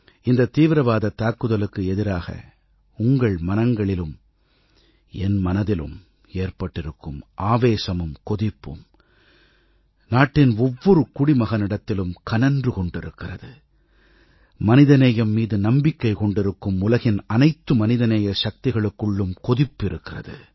இந்த தீவிரவாதத் தாக்குதலுக்கு எதிராக உங்கள் மனங்களிலும் என் மனதிலும் ஏற்பட்டிருக்கும் ஆவேசமும் கொதிப்பும் நாட்டின் ஒவ்வொரு குடிமகனிடத்திலும் கனன்று கொண்டிருக்கிறது மனிதநேயம் மீது நம்பிக்கை கொண்டிருக்கும் உலகின் அனைத்து மனிதநேய சக்திகளுக்குள்ளும் கொதிப்பு இருக்கிறது